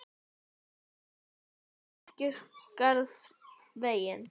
Berið þið byssur út á kirkjugarðsvegginn.